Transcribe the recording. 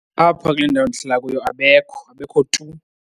Apha kule ndawo ndihlala kuyo abekho, abekho tu.